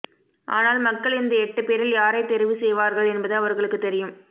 ஆனால் மக்கள் இந்த எட்டுப்பேரில் யாரை தெரிவு செய்வார்கள் என்பது அவர்களுக்கு தெரியும்